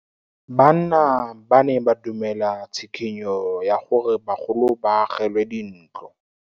Banna ba ne ba dumela tshikinyô ya gore bagolo ba agelwe dintlo.